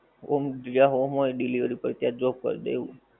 home જ્યાં home હોએ delivery પર ત્યાં drop કર દે એવું